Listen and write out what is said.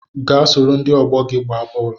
Gaa soro ndị ọgbọ gị gbaa bọọlụ